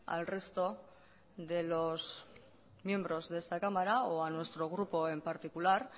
al resto de los miembros de esta cámara o a nuestro grupo en particular